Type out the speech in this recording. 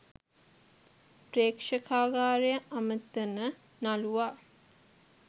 ප්‍රෙක්ෂකාගාරය අමතන නළුවා